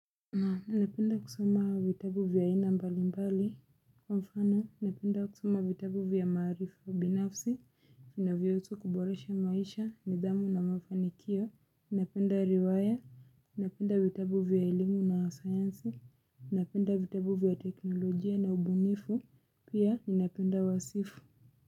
Napenda kusoma vitabu vya ina mbalimbali, kwa mfano napenda kusoma vitabu vya maarifa, binafsi, vinavyohusu kuboresha maisha, nidhamu na mafanikio, napenda riwaya, napenda vitabu vya elimu na sayansi, napenda vitabu vya teknolojia na ubunifu, pia napenda wasifu.